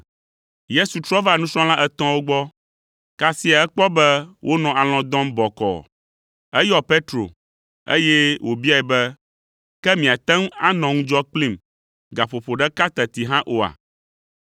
Yesu trɔ va nusrɔ̃la etɔ̃awo gbɔ, kasia ekpɔ be wonɔ alɔ̃ dɔm bɔkɔɔ. Eyɔ Petro, eye wòbiae be, “Ke miate ŋu anɔ ŋu kplim gaƒoƒo ɖeka teti hã oa?